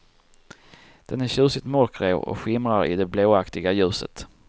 Den är tjusigt mörkgrå och skimrar i det blåaktiga ljuset.